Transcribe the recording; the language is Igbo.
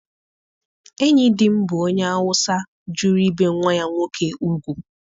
Enyi di m bụ onye Awụsa jụrụ ibe nwa ya nwoke ugwu.